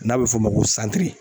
N'a bɛ f'o ma ko santiri.